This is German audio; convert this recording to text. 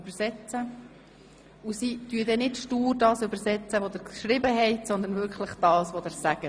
Übrigens wird nicht stur das gedolmetscht, was Sie geschrieben haben, sondern wirklich das, was Sie sagen.